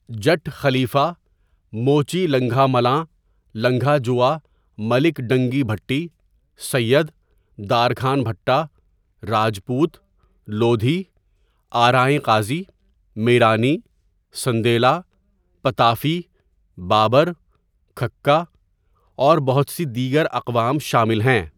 جٹ خلیفہ ،موچی لنگھا ملاں لنگھا جوئہ ملک ڈنگی بھٹی ،سید، دارکھان بھٹہ ،راجپوت ،لودهی ،آرائیں قاضی ، میرانی ،سندیلہ ، پتافی ، بابر ،کھکہ ، اور بہت سی دیگر اقوام شامل ہیں.